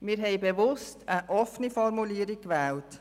Wir haben bewusst eine offene Formulierung gewählt.